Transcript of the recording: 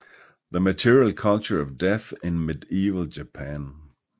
The Material Culture of Death in Medieval Japan